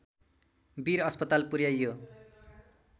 वीर अस्पताल पुर्‍याइयो